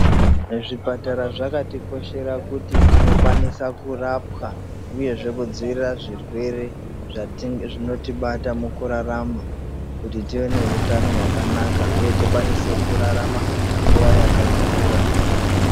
Zvipatara zvakatikoshera kuti tinokwanisa kurapwa uyezve kudzivirira zvirwere zvinotibata mukurarama kuti tive neutano hwakanaka huye tikwanise kurarama nguva yakakura.